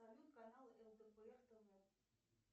салют канал лдпр тв